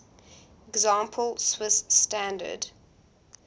example swiss standard